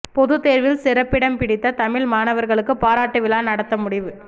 பொதுத் தோ்வில் சிறப்பிடம் பிடித்த தமிழ் மாணவா்களுக்குப் பாராட்டு விழா நடத்த முடிவு